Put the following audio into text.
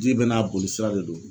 Ji bɛɛ n'a boli sira de don